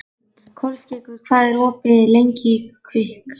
Kolskeggur, hvað er opið lengi í Kvikk?